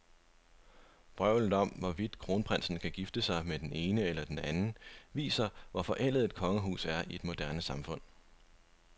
Vrøvlet om, hvorvidt kronprinsen kan gifte sig med den ene eller den anden, viser, hvor forældet et kongehus er i et moderne samfund.